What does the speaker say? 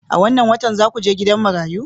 A wannan watan za ku je gidan marayu?